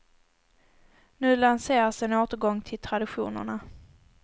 Nu lanseras en återgång till traditionerna.